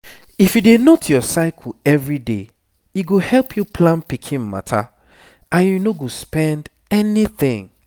if you dey note your cycle everyday e go help you plan pikin matter and you no spend anything